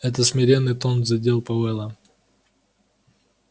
этот смиренный тон задел пауэлла